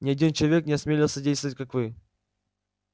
ни один человек не осмелился действовать как вы